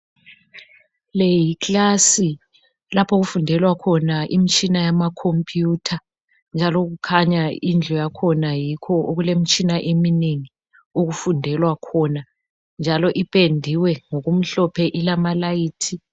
Leyi yiklasi lapho okufundelwa khona imitshina yamacompiyutha njalo kukhanya indlu yakhona yikho okulimitshina eminengi okufundelwa khona njalo ipendiwe ilamalayithi